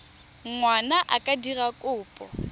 ngwana a ka dira kopo